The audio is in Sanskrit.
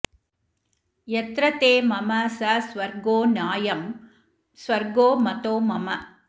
यत्र ते मम स स्वर्गो नायं स्वर्गो मतो मम